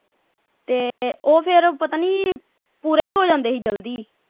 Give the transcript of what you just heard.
ਤੇ ਉਹ ਫੇਰ ਪਤਾ ਨਹੀਂ ਪੂਰੇ ਵੀ ਹੋ ਜਾਂਦੇ ਸੀ ਜਲਦੀ।